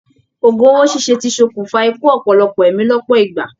Ògún owó ṣiṣe tí sọkún fa ikú ọpọlọpọ ẹ̀mí lọpọ ìgbà.